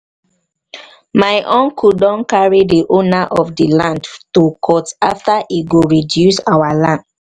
my uncle don carry the owner of the land to court after he go reduce our land